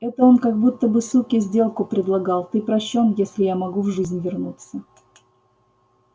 это он как будто бы суке сделку предлагал ты прощён если я могу в жизнь вернуться